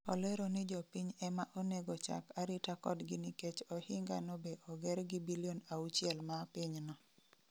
Olero ni jopiny ema onego chak arita kodgi nikech ohinga no be oger gi bilion auchiel ma pinyno